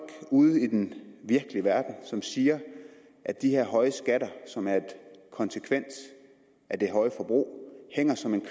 ude i den virkelige verden som siger at de her høje skatter som er en konsekvens af det høje forbrug hænger som en